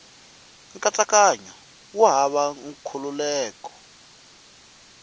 nkatsakanyo wu hava nkhulukelano wa